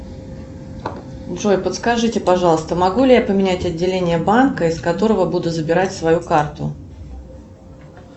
джой подскажите пожалуйста могу ли я поменять отделение банка из которого буду забирать свою карту